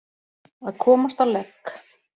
Að komast á legg